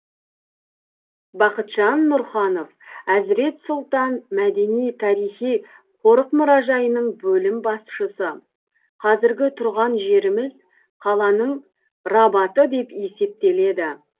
бақытжан нұрханов әзірет сұлтан мәдени тарих қорық мұражайының бөлім басшысы қазіргі тұрған жеріміз қаланың рабаты деп есептеледі